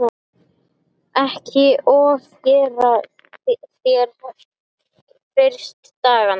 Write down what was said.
Ekki ofgera þér fyrstu dagana.